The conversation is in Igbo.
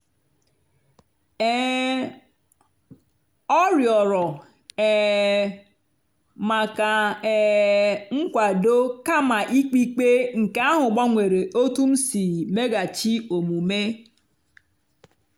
um ọ rịọrọ um maka um nkwado kama ikpe ikpe nke ahụ gbanwere otú m si meghachi omume.